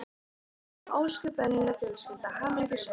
Við vorum ósköp venjuleg fjölskylda, hamingjusöm.